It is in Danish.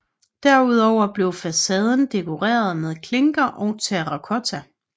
Derudover blev facaden dekoreret med klinker og terracotta